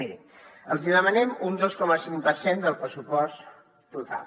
mirin els hi demanem un dos coma cinc per cent del pressupost total